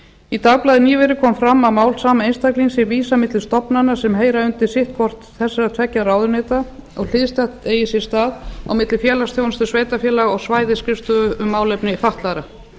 í dagblaði nýverið kom fram að mál sama einstaklings sé vísað milli stofnana sem heyra undir sitt hvort þessara tveggja ráðuneyta og hliðstætt eigi sér stað milli félagsþjónustu sveitarfélaga og svæðisskrifstofu um málefni fatlaðra